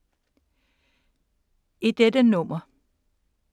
I dette nummer